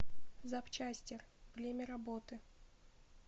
запчастер время работы